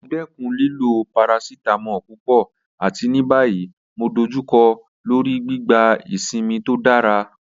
Mo dẹkun lilo paracetamol pupọ̀, àti ní báyìí mo dọ̀jùkọ́ lọ́rí gbígbà ìṣínmi tó dára